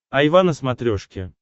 айва на смотрешке